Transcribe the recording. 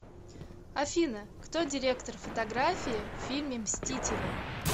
афина кто директор фотографии в фильме мстители